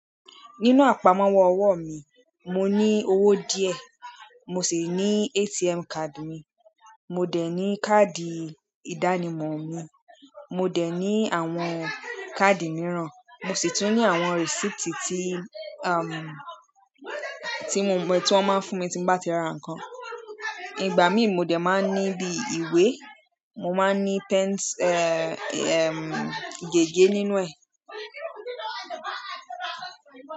Nínú àpamọ́wọ́ ọwọ́ mi, mo ní owó díẹ̀, mo sì ní ATM card mi, mo dẹ̀ ní káàdì ìdánimọ̀ mi, mo dẹ̀ ní àwọn káàdì mìíràn, mo sì tún ní àwọn receipt tí, tí mo mọ̀, tí wọ́n máa ń fún mi tí mo bá ti ra nǹkan. Ìgbà mí mo dẹ̀ máa ń ní bí ìwé, mo máa ń ní pens, gègé nínú ẹ̀.